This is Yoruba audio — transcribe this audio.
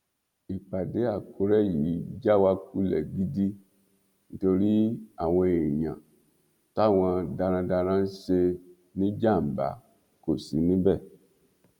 ìpàdé àkùrẹ yìí já wa kulẹ gidi nítorí àwọn èèyàn táwọn darandaran ń ṣe níjàmbá kò sí níbẹ